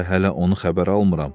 Əmbə hələ onu xəbər almıram.